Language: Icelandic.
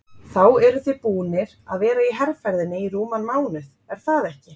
Þá eruð þið búnir að vera í herferðinni í rúman mánuð er það ekki?